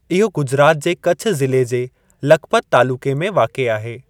इहो गुजरात जे कछ ज़िले जे लखपत तालुक़े में वाक़िए आहे।